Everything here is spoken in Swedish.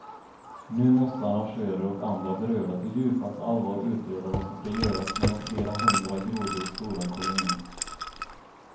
Nu måste arrangörer och andra berörda på djupaste allvar utreda vad som ska göras med den flera hundra grodor stora kolonin.